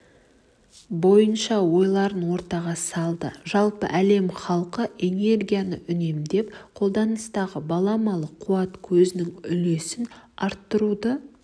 бойынша ойларын ортаға салды жалпы әлем халқы энергияны үнемдеп қолданыстағы баламалы қуат көзінің үлесін арттыруды